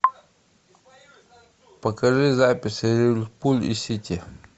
покажи запись ливерпуль и сити